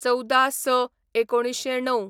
१४/०६/१९०९